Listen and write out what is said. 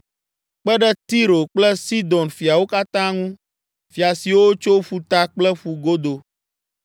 kpe ɖe Tiro kple Sidon fiawo katã ŋu, fia siwo tso ƒuta kple ƒugodo;